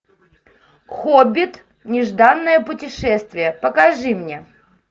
хоббит нежданное путешествие покажи мне